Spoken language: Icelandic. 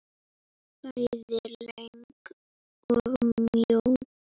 Bæði löng og mjó.